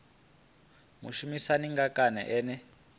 mushumisani ngae kana ene a